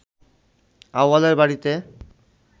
আউয়ালের বাড়িতে